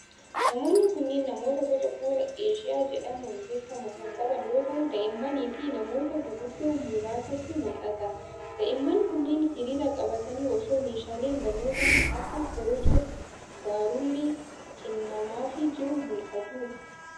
Namoonni kunneen ,namoota boca fuulaa eeshiyaa jedhamuun beekamu kan qaban yoo ta'u, daa'immanii fi namoota guguddoo muraasatu mul'ata. Daa'imman kunneen hiriira qbatanii osoo meeshaaleen barnootaa kan akka korojoo barruulee kennamaafii jiru mul'atu.